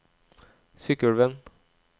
Sykkylven